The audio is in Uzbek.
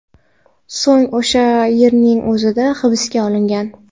So‘ng o‘sha yerning o‘zida hibsga olingan.